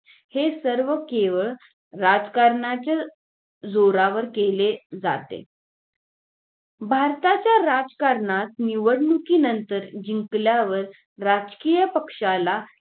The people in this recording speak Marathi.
हे सर्व केवळ राजकारणच जोरावर केलं जाते भारताच्या राजकारणात निवडणुकीनंतर जिकल्यावर राजकीय पक्षाला